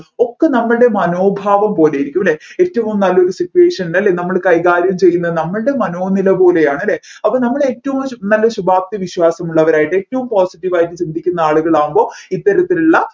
ഒക്കെ നമ്മൾടെ മനോഭാവം പോലെയിരിക്കും അല്ലെ ഏറ്റവും നല്ല situation ൽ നമ്മൾ കൈകാര്യം ചെയ്യുന്ന നമ്മൾടെ മനോനില പോലെയാണ് അല്ലെ അപ്പോ നമ്മൾ ഏറ്റവും നല്ല ശുഭാപ്തി വിശ്വാസമുള്ളവരായിട്ട് ഏറ്റവും positive വായിട്ട് ചിന്തിക്കുന്ന ആളുകളാവുമ്പോൾ ഇത്തരത്തിലുള്ള